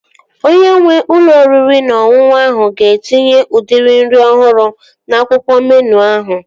Onye nwee ụlọ oriri na ọṅụṅụ ahụ ga-etinye udiri nri ọhụrụ n'akwụkwọ meenụ ahụ